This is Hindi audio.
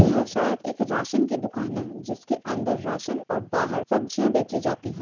ये शायद एक राशन की दूकान है जिसके अंदर राशन और बाहर सब्जियाँ बेचीं जाती है।